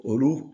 Olu